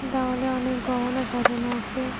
দাওয়ালে অনেক গহনা সাজানো আছে।